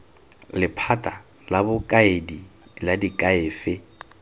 lephata la bokaedi la diakhaefe